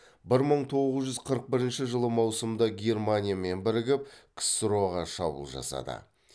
бір мың тоғыз жүз қырық бірінші жылы маусымда германиямен бірігіп ксро ға шабуыл жасады